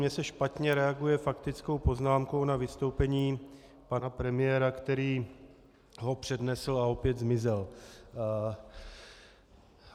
Mně se špatně reaguje faktickou poznámkou na vystoupení pana premiéra, který ho přednesl a opět zmizel.